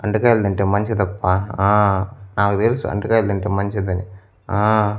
అంటకాయలు తింటే మంచిదప్ప ఆ నాకు తెలుసు అంటకాయలు తింటే మంచిదని ఆ.